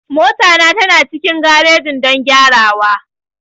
Mota na tana cikin garejin don gyarawa.